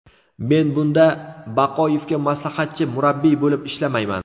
Men bunda Baqoyevga maslahatchi murabbiy bo‘lib ishlamayman.